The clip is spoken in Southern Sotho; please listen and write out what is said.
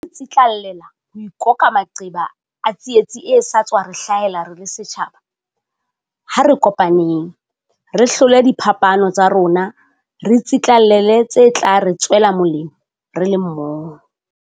Ha re tsitlallela ho ikoka maqeba a tsietsi e sa tswa re hlahela re le setjhaba, ha re kopaneng. Re hlole diphapano tsa rona re tsitlallele tse tla re tswela molemo re le mmoho.